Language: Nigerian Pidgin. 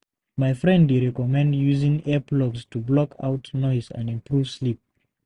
My friend dey recommend using earplugs to block out noise and improve sleep.